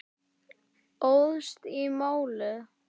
Óðst í málið.